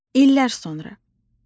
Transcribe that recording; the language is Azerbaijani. İllər sonra.